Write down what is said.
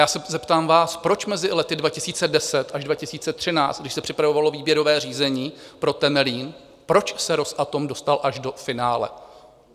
Já se zeptám vás, proč mezi lety 2010 až 2013, když se připravovalo výběrové řízení pro Temelín, proč se Rosatom dostal až do finále?